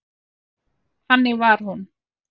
Þannig var hún.